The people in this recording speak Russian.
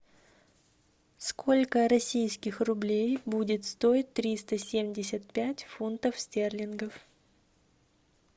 сколько российских рублей будет стоить триста семьдесят пять фунтов стерлингов